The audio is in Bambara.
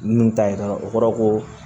Nun ta yira o kɔrɔ ko